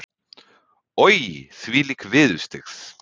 Oj, þvílík viðurstyggð.